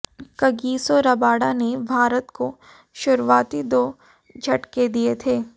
Kagiso Rabada ने भारत को शुरुआती दो झटके दिए थे